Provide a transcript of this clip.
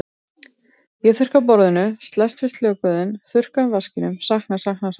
Ég þurrka af borðinu, slæst við söknuðinn, þurrka af vaskinum, sakna, sakna, sakna.